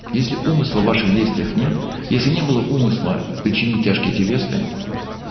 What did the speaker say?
если умысла в ваших действиях нет если не было умысла причинить тяжкие телесные